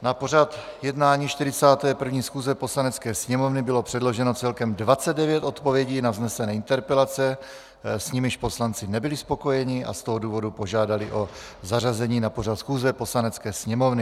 Na pořad jednání 41. schůze Poslanecké sněmovny bylo předloženo celkem 29 odpovědí na vznesené interpelace, s nimiž poslanci nebyli spokojeni, a z toho důvodu požádali o zařazení na pořad schůze Poslanecké sněmovny.